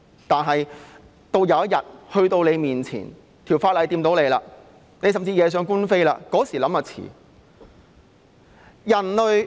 但是，有一天法例影響到你，甚至惹上官非，屆時才想就太遲了。